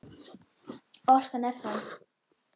Orkan er þá